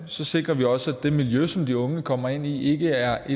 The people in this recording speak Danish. så sikrer vi også at det miljø som de unge kommer ind i ikke er